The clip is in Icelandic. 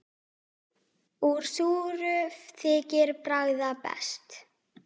Úr súru þykir bragða best.